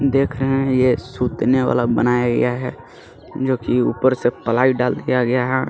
देख रहे हैं ये सूतने वाला बनाया गया है जो कि ऊपर से प्लाई डाल दिया गया है।